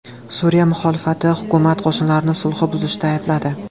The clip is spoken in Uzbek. Suriya muxolifati hukumat qo‘shinlarini sulhni buzishda aybladi.